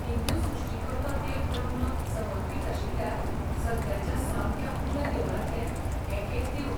हिंदू सृश्टीकर्तो देव ब्रह्माक समर्पित आशिल्ल्या सद्याच्या सामक्या उण्या देवळांतलें हें एक देवूळ.